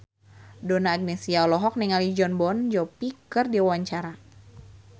Donna Agnesia olohok ningali Jon Bon Jovi keur diwawancara